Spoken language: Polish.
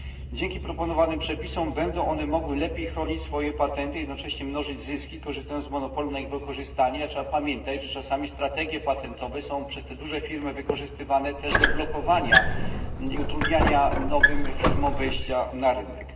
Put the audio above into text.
Dzięki proponowanym przepisom będą one mogły lepiej chronić swoje patenty i jednocześnie mnożyć zyski, korzystając z monopolu na ich wykorzystanie, a trzeba pamiętać, że czasami strategie patentowe są przez te duże firmy wykorzystywane też do blokowania i utrudniania nowym firmom wejścia na rynek.